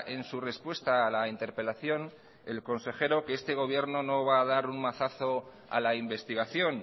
en su respuesta a la interpelación el consejero que este gobierno no va a dar un mazazo a la investigación